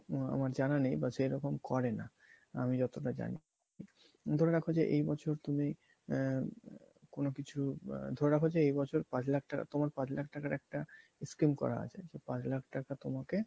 আমার জানা নেই বা সেরকম করে না আমি যতটা জানি ধরে রাখো যে এই বছর তুমি আহ কোনো কিছু আহ ধরে রাখো যে এই বছর পাঁচ লাখ টাকা তোমার পাঁচ লাখ টাকার একটা scheme করা আছে সেই পাঁচ লাখ টাকা তোমাকে